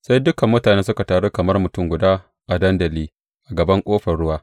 sai dukan mutane suka taru kamar mutum guda a dandali a gaban Ƙofar Ruwa.